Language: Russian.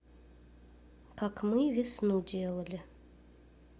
как мы весну делали